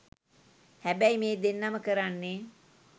හැබැයි මේ දෙන්නම කරන්නේ